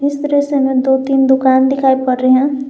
इस दृश्य में दो तीन दुकान दिखाई पड़ रहे हैं।